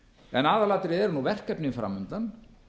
en aðalatriðið eru nú verkefnin fram undan